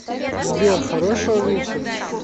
сбер хорошего вечера